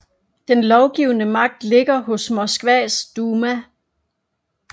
Den lovgivende magt ligger hos Moskvas duma